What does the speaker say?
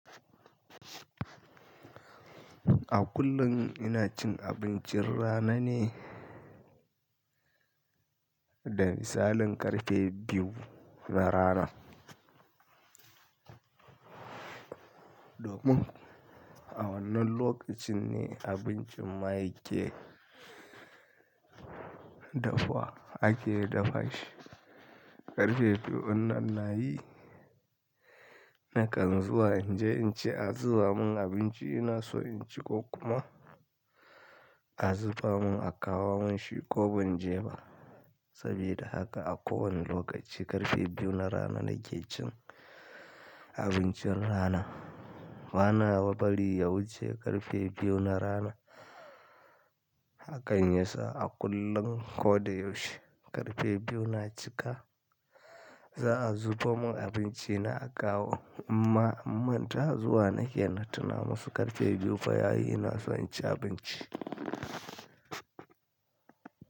A kullum ina cin abincin rana ne, da misalin ƙarfe biyu na rana. Domin a wannan lokacin ne abincin ma yake dafuwa, ake dafa shi. Ƙarfe biyu ɗin nan na yi, nakan zuwa inje in ce, A zuba mun abinci ina so in ci ko kuma a zuba mun a kawo mun shi ko ban je ba. Sabida haka a kowane lokaci ƙarfe biyu na rana nake cin abincin rana. Bana bari ya wuce ƙarfe biyu na rana. Hakan yasa a kullum ko da yaushe ƙarfe biyu na cika, za'a zubo mun abinci na a kawo, in ma an manta, zuwa nake na tuna masu ƙarfe biyu fa yayi ina so in ci abinci.